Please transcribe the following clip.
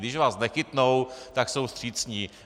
Když vás nechytnou, tak jsou vstřícní.